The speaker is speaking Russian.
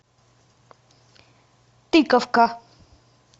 тыковка